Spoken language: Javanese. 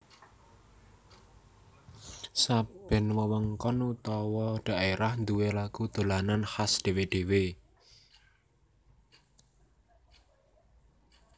Saben wewengkon utawa dhaerah nduwé lagu dolanan khas dhewe dhewe